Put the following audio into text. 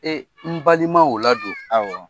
Ee n balima o ladon , awɔ.